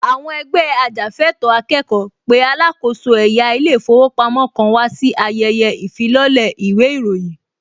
Àwọn ẹgbẹ́ ajàfẹ́ẹ̀tọ́ akẹ́kọ̀ọ́ pé alákòóso ẹ̀yà ilé ìfowópamọ́ kan wà sí ayẹyẹ ìfilọ́lẹ̀ īwé īròyīn